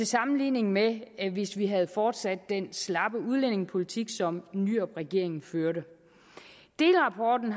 sammenligning med hvis vi havde fortsat den slappe udlændingepolitik som nyrupregeringen førte delrapporten